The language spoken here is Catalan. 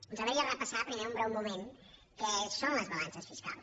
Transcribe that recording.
ens agradaria repassar primer un breu moment què són les balances fiscals